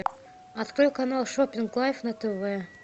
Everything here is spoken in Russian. открой канал шоппинг лайф на тв